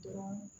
Dɔrɔn